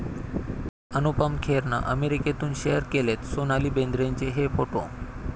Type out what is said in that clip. अनुपम खेरनं अमेरिकेतून शेअर केलेत सोनाली बेंद्रेचे हे फोटो